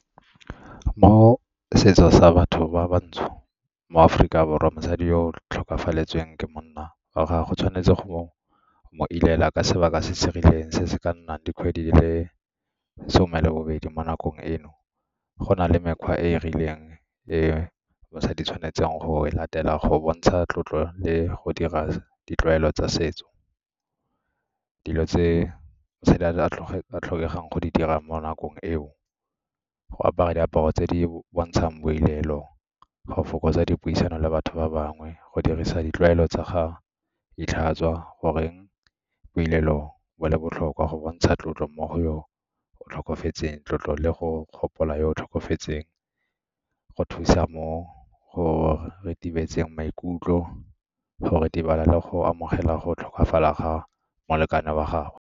Mo setsong sa batho ba bantsho, mo Aforika Borwa, mosadi yo o tlhokafaletswe ke monna wa gagwe, o tshwanetse go mo ilela ka sebaka se se rileng se se ka nnang dikgwedi di le some le bobedi mo nakong eno. Go na le mekgwa e e rileng e mosadi tshwanetseng go e latela go bontsha tlotlo le go dira ditlwaelo tsa setso. Dilo tse a tlhokegang go di dirang mo nakong eo, go apara diaparo tse di bontshang boilelo, go fokotsa dipuisano le batho ba bangwe, go dirisa ditlwaelo tsa ga gore boilelo bo le botlhokwa go bontsha tlotlo mo go tlhokofetseng tlotlo le go gopola yo o tlhokofetseng, go thusa mo go retibetseng maikutlo, go ritibala le go amogela go tlhokafala ga molekane wa gagwe.